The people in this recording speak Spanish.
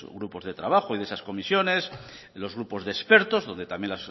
grupos de trabajo y de esas comisiones en los grupos de expertos donde también